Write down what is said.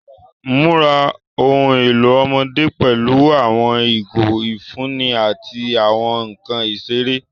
Mura ohun elo ọmọde pẹlu awọn igo ifunni ati awọn nkan isere.